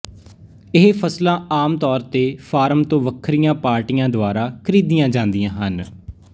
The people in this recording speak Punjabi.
ਇਹ ਫ਼ਸਲਾਂ ਆਮ ਤੌਰ ਤੇ ਫਾਰਮ ਤੋਂ ਵੱਖਰੀਆਂ ਪਾਰਟੀਆਂ ਦੁਆਰਾ ਖਰੀਦੀਆਂ ਜਾਂਦੀਆਂ ਹਨ